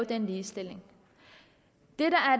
den ligestilling